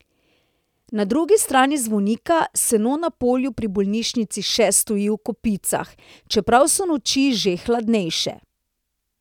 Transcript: Na drugi strani zvonika seno na polju pri bolnišnici še stoji v kopicah, čeprav so noči že hladnejše.